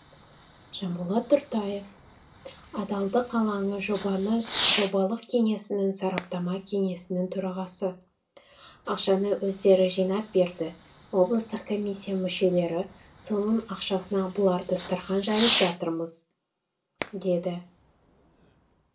жанболат тұртаев адалдық алаңы жобалық кеңсесінің сараптама кеңесінің төрағасы ақшаны өздері жинап берді облыстық комиссия мүшелері соның ақшасына бұлар дастархан жайып жатырмыз деді